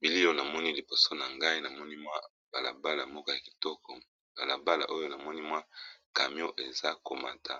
Bilio namoni liboso na ngai namoni mwa balabala moko ya kitoko balabala oyo namoni mwa camio eza komata